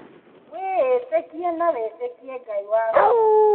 Wĩĩtĩkie na wĩtĩkie Ngai waku